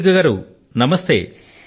కృతికా గారు నమస్తే